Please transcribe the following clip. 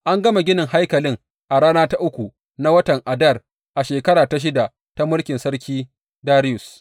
An gama ginin haikalin a rana ta uku na watan Adar a shekara ta shida ta mulkin Sarki Dariyus.